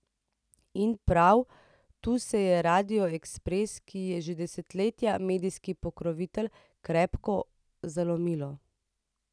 In prav tu se je radiu Ekspres, ki je že desetletje medijski pokrovitelj, krepko zalomilo.